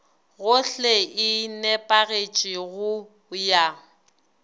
gohle e nepagetše go ya